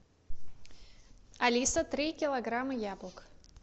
алиса три килограмма яблок